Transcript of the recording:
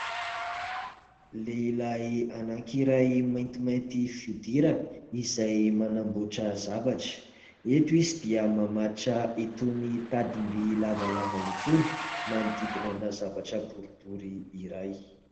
Lehilahy anankiray maintimainty fihodirana, izay manamboatra zavatra. Eto izy dia mamatotra itony tadim-by lavalava itony, manodidina zavatra boribory iray.